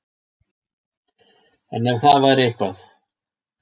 En ef að það væri eitthvað